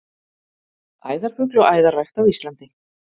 Æðarfugl og æðarrækt á Íslandi.